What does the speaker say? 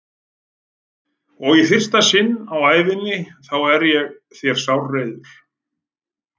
Og í fyrsta sinn á ævi minni þá er ég þér sárreiður.